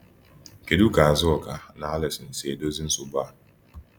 Kedu ka Azuka na Alison si edozi nsogbu a?